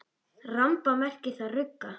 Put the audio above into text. Ramba merkir þar rugga.